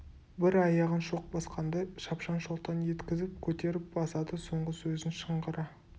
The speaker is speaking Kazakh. бір аяғын шоқ басқандай шапшаң шолтаң еткізіп көтеріп басады соңғы сөзін шыңғыра